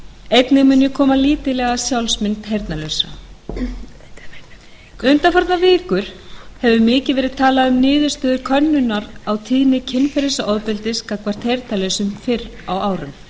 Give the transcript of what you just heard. einnig mun ég koma lítillega að sjálfsmynd heyrnarlausra undanfarnar vikur hefur mikið verið talað um niðurstöður könnunar á tíðni kynferðisofbeldisglæpa gagnvart heyrnarlausum fyrr á árum